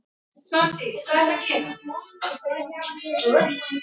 Ég leyfi mér meira.